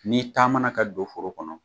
N'i taamana ka don foro kɔnɔ